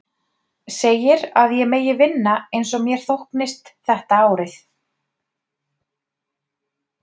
Segir að ég megi vinna eins og mér þóknist þetta árið.